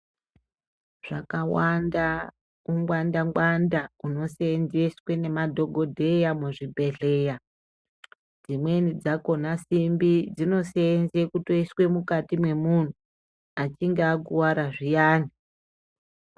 Zvakawanda ungwanda ngwanda hunoseenzeswe nemadhogodheya muzvibhedleya . Dzimweni dzakhona simbi dzinoseenze kutoiswe mukati mwemunhu, achinge akuwara zviyani.